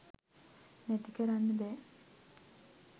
නැති කරන්න බෑ